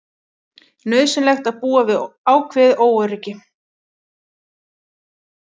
Nauðsynlegt að búa við ákveðið óöryggi